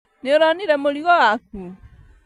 Nĩũronire mũrigo waku?